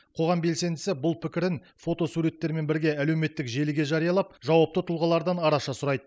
қоғам белсендісі бұл пікірін фотосуреттермен бірге әлеуметтік желіге жариялап жауапты тұлғалардан араша сұрайды